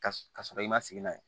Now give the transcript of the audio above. Ka sɔrɔ i ma sigi n'a ye